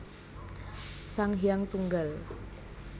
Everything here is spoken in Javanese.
Sang Hyang Tunggal